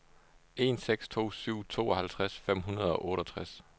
en seks to syv tooghalvtreds fem hundrede og otteogtres